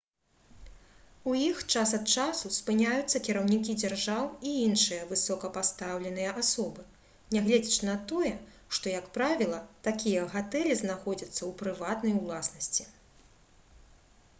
у іх час ад часу спыняюцца кіраўнікі дзяржаў і іншыя высокапастаўленыя асобы нягледзячы на тое што як правіла такія гатэлі знаходзяцца ў прыватнай уласнасці